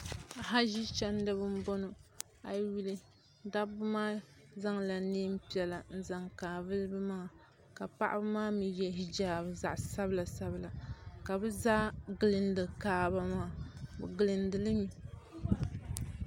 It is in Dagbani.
Haʒi chandiba n bɔŋo a yi yuli dabba maa zaŋ la niɛn piɛla n zaŋ kaavili bi maŋa ka paɣaba maa mi yɛ hijaabi zaɣa sabila sabila ka bi zaa gilindi kaaba maa bi gilindili mi.